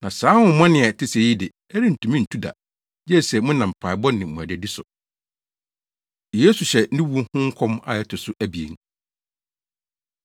Na saa honhommɔne a ɛte sɛɛ yi de, ɛrentumi ntu da, gye sɛ monam mpaebɔ ne mmuadadi so.” Yesu Hyɛ Ne Wu Ho Nkɔm A Ɛto So Abien